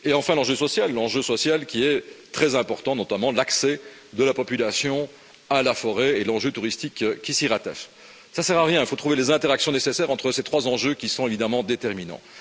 Et enfin, l'enjeu social qui est très important, notamment l'accès de la population à la forêt et l'enjeu touristique qui s'y rattache. Cela ne sert à rien, il faut trouver les interactions nécessaires entre ces trois enjeux qui sont évidemment déterminants.